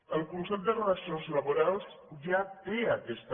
el consell de relacions laborals ja té aquesta